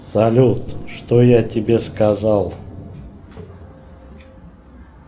салют что я тебе сказал